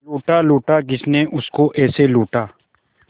लूटा लूटा किसने उसको ऐसे लूटा